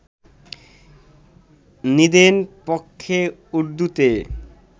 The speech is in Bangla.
নিদেন পক্ষে উর্দুতে